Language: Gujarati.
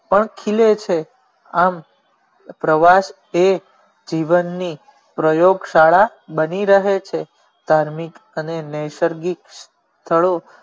પંથ ખીલે છે આમ પ્રવાસ એ જીવન ની પ્રયોગ શાળા બની રહે છે ધાર્મિક અને નેસરગિક સ્થળો